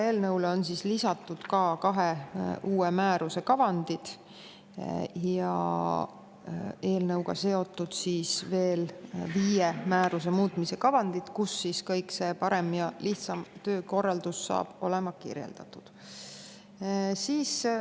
Eelnõule on lisatud kahe uue määruse kavandid ja eelnõuga seotud viie määruse muutmise kavandid, kus kõik see parem ja lihtsam töökorraldus saab olema kirjeldatud.